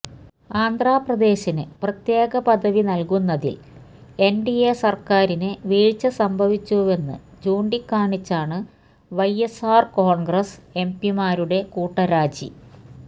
ആന്ധ്രപ്രദേശിന് പ്രത്യേക പദവി നൽകുന്നതിൽ എൻഡിഎ സർക്കാരിന് വീഴ്ച സംഭവിച്ചുവെന്ന് ചൂണ്ടിക്കാണിച്ചാണ് വൈഎസ്ആർ കോൺഗ്രസ് എംപിമാരുടെ കൂട്ടരാജി